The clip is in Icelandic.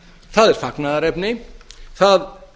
það er fagnaðarefni það